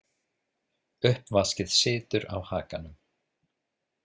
Uppvaskið situr á hakanum.